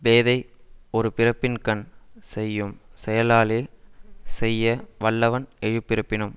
பேதை ஒரு பிறப்பின் கண் செய்யும் செயலாலே செய்ய வல்லவன் எழுபிறப்பினும்